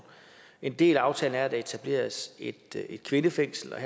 en del af aftalen er at der etableres et kvindefængsel og